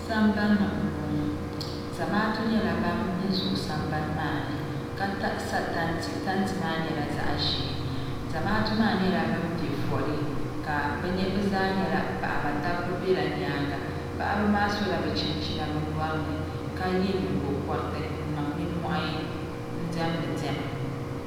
sambanni m-bɔŋɔ zamaatu nyɛla ban zooi sambani maa ni ka sa tanti tanti maa nyɛla zaɣ'ʒee zamaatu maa nyɛla bɛm pe fɔli bɛ zaa nyɛla paɣaba dabba bela nyaaŋa paɣaba maa sola bɛ chinchina bɛ nyɔri ni ka ye nyingɔkɔriti n-niŋ nimmohi diɛmdi diɛma